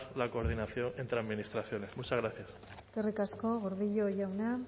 la coordinación entre administraciones muchas gracias eskerrik asko gordillo jauna